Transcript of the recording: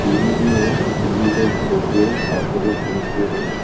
TV भी है TV जो तीन ठो है।